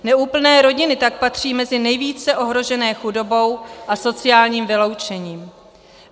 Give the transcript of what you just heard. Neúplné rodiny tak patří mezi nejvíce ohrožené chudobou a sociálním vyloučením.